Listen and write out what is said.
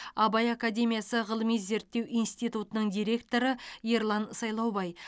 абай академиясы ғылыми зерттеу институтының директоры ерлан сайлаубай